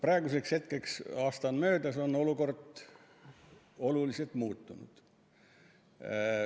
Praeguseks hetkeks, kui aasta on möödas, on olukord oluliselt muutunud.